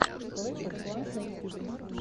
клэш оф кланс на ютубе